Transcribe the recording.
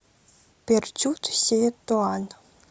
перчут сеи туан